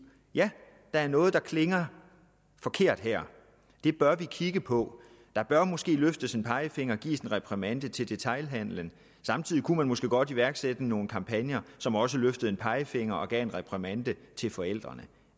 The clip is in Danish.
ja der er noget der klinger forkert her det bør vi kigge på der bør måske løftes en pegefinger og gives en reprimande til detailhandelen samtidig kunne man måske godt iværksætte nogle kampagner som også løftede en pegefinger og gav en reprimande til forældrene